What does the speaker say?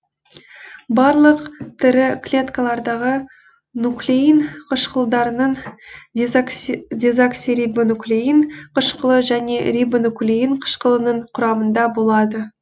барлық тірі клеткалардағы нуклеин қышқылдарының дезоксирибонуклеин қышқылы және рибонуклеин қышқылының құрамында болады